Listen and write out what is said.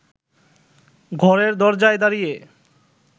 ঘরের দরজায় দাঁড়িয়ে